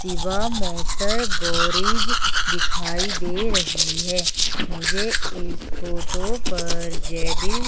Shivam motor garage दिखाई दे रही है मुझे इस फोटो पर जेडिल--